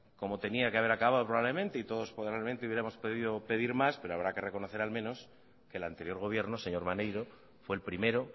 como tenía que haber acabado probablemente y todos probablemente hubiéramos podido pedir más pero habrá que reconocer al menos que el anterior gobierno señor maneiro fue el primero